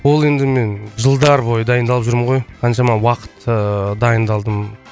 ол енді мен жылдар бойы дайындалып жүрмін ғой қаншама уақыт ыыы дайындалдым